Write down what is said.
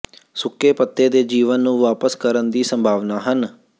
ਸੁੱਕੇ ਪੱਤੇ ਦੇ ਜੀਵਨ ਨੂੰ ਵਾਪਸ ਕਰਨ ਦੀ ਸੰਭਾਵਨਾ ਹਨ